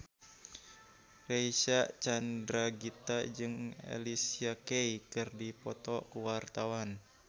Reysa Chandragitta jeung Alicia Keys keur dipoto ku wartawan